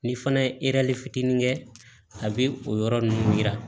Ni fana ye fitinin kɛ a bɛ o yɔrɔ ninnu jira